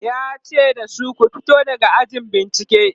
yace da su "ku fito daga ɗakin bincike!"